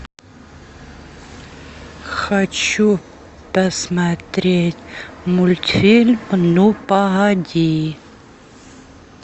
хочу посмотреть мультфильм ну погоди